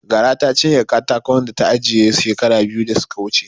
Gara ta cinye katakon da ta ajiye shekara biyu da suka wuce.